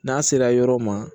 N'a sera yɔrɔ ma